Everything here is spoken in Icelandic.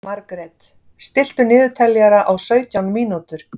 Margret, stilltu niðurteljara á sautján mínútur.